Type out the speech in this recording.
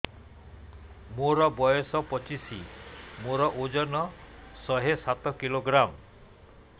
ମୋର ବୟସ ପଚିଶି ମୋର ଓଜନ ଶହେ ସାତ କିଲୋଗ୍ରାମ